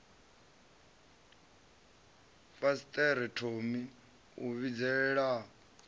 fasiṱere thomi a vhidzelela a